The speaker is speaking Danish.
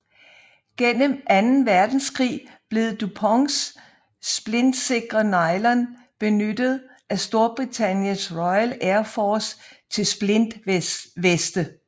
Gennem Anden Verdenskrig blev DuPonts splintsikre nylon benyttet af Storbritanniens Royal Air Force til splintveste